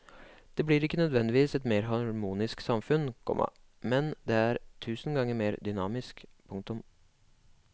Det blir ikke nødvendigvis et mer harmonisk samfunn, komma men det er tusen ganger mer dynamisk. punktum